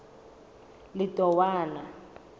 letowana